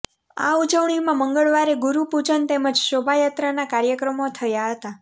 આ ઉજવણીમાં મંગળવારે ગુરૂપૂજન તેમજ શોભાયાત્રાના કાર્યક્રમો થયા હતા